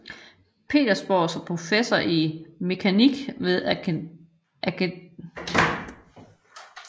Petersborg som professor i mekanik ved Akademiet i denne by